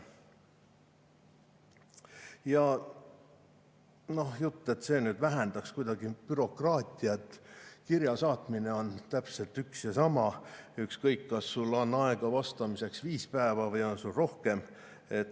Ja jutt, et see nüüd vähendaks kuidagi bürokraatiat – kirja saatmine on täpselt üks ja sama, ükskõik, kas sul on aega vastamiseks viis päeva või on sul rohkem.